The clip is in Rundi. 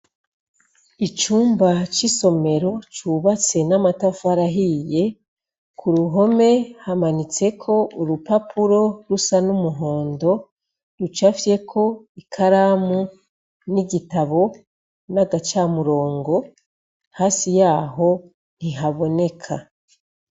Icumba c'isomero cubatse n'amatafari ahiye kuruhome hamanitseko urupapuro rusa n'umuhondo rucafyeko ikaramu n'igitabu nagacamurongo hasi yaho ntihaboneka.